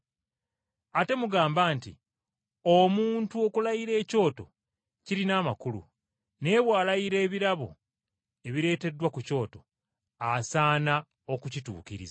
Ate mugamba nti, ‘Omuntu okulayira ekyoto, kirina amakulu, naye bw’alayira ebirabo ebireeteddwa ku kyoto, asaana okukituukiriza!’